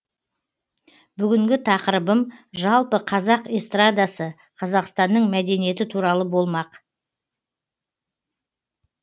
бүгінгі тақырыбым жалпы қазақ эстрадасы қазақстанның мәдениеті туралы болмақ